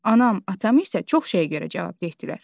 Anam, atam isə çox şeyə görə cavabdeh dilər.